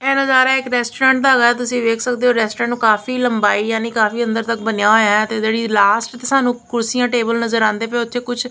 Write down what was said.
ਇਹ ਨਜ਼ਾਰਾ ਇੱਕ ਰੈਸਟੋਰੈਂਟ ਦਾ ਹੈਗਾ ਤੁਸੀਂ ਵੇਖ ਸਕਦੇ ਹੋ ਰੈਸਟੋਰੈਂਟ ਕਾਫੀ ਲੰਬਾਈ ਯਾਨੀ ਕਾਫੀ ਅੰਦਰ ਤੱਕ ਬਣਿਆ ਹੋਇਆ ਹੈ ਤੇ ਜਿਹੜੀ ਲਾਸਟ ਸਾਨੂੰ ਕੁਰਸੀਆਂ ਟੇਬਲ ਨਜ਼ਰ ਆਉਂਦੇ ਪਏ ਉੱਥੇ ਕੁਝ--